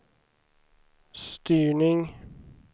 styrning